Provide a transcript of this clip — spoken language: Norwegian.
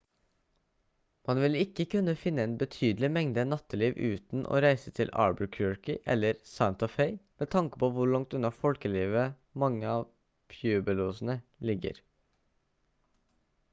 man vil ikke kunne finne en betydelig mengde natteliv uten å reise til albuquerque eller santa fe med tanke på hvor langt unna folkelivet mange av pueblosene ligger